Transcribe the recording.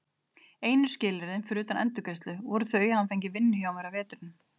Einu skilyrðin, fyrir utan endurgreiðslu, voru þau að hann fengi vinnu hjá mér að vetrinum.